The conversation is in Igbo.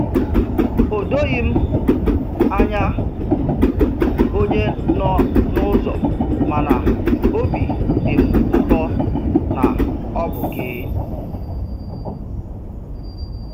O doghị m anya onye nọ n'ụzọ, mana óbị dị m ụtọ na ọ bụ gị.